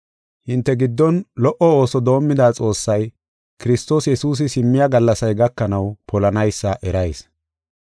Hinte giddon lo77o ooso doomida Xoossay, Kiristoos Yesuusi simmiya gallasay gakanaw, polanaysa erayis.